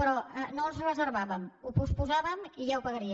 però no els reservàvem ho posposàvem i ja ho pagarien